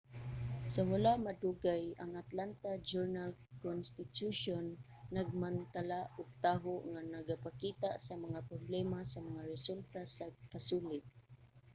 sa wala madugay ang atlanta journal-constitution nagmantala og taho nga nagapakita sa mga problema sa mga resulta sa pasulit